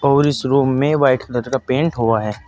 और इस रूम में वाइट कलर का पेंट हुआ है।